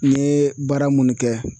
N ye baara munnu kɛ